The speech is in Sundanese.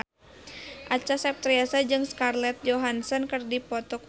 Acha Septriasa jeung Scarlett Johansson keur dipoto ku wartawan